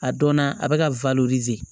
A dɔnna a bɛ ka